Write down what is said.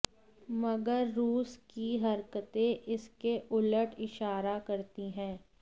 मगर रूस की हरकतें इसके उलट इशारा करती हैं